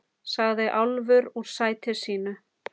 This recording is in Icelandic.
sagði Álfur úr sæti sínu.